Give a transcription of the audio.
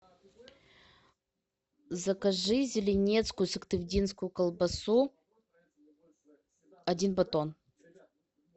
закажи зеленецкую сыктывдинскую колбасу один батон